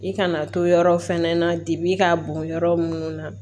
I kana to yɔrɔ fɛnɛ na dibi k'a bon yɔrɔ mun na